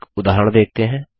एक उदाहरण देखते हैं